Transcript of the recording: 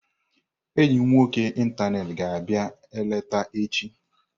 Enyi m nwoke ịntanetị ga abịa-eleta echi.